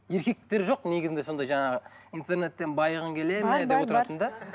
еркектер жоқ негізінде сондай жаңағы интернеттен байығың келеді ме деп отыратын да